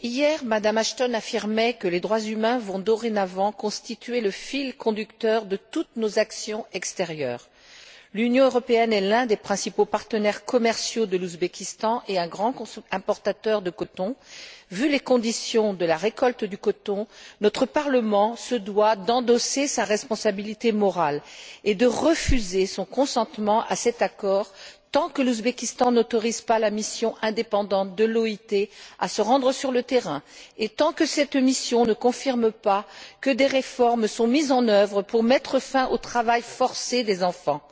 Monsieur le Président, chers collègues, hier, Mme Ashton affirmait que les droits humains allaient dorénavant constituer le fil conducteur de toutes nos actions extérieures. L'Union européenne est l'un des principaux partenaires commerciaux de l'Ouzbékistan et un grand importateur de coton. Vu les conditions de la récolte du coton, notre Parlement se doit d'endosser sa responsabilité morale et de refuser son consentement à cet accord tant que l'Ouzbékistan n'autorise pas la mission indépendante de l'OIT à se rendre sur le terrain, et tant que cette mission ne confirme pas que des réformes sont mises en œuvre pour mettre fin au travail forcé des enfants.